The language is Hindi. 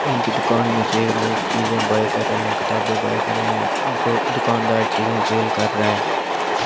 इनकी दुकान में से लोग चीजें बाए कर रहे हैं किताबें बाए कर रे हैं जो दुकानदार चीजें जेल कर रहा है।